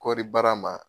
Kɔɔri baara ma